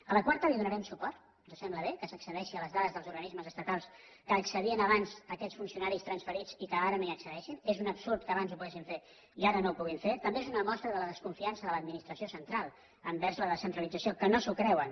a la quarta hi donarem suport ens sembla bé que s’accedeixi a les dades dels organismes estatals que hi accedien abans aquests funcionaris transferits i que ara no hi accedeixen és un absurd que abans ho poguessin fer i ara no ho puguin fer també és una mostra de la desconfiança de l’administració central envers la descentralització que no s’ho creuen